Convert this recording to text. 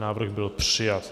Návrh byl přijat.